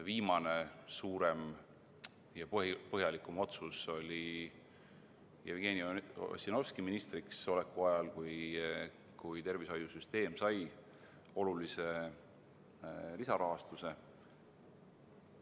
Viimane suurem ja põhjalikum otsus oli Jevgeni Ossinovski ministriks oleku ajal, kui tervishoiusüsteem sai olulise lisarahastuse.